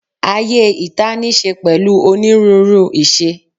Ayé ìta níí ṣe pẹ̀lú onírúurú ìṣe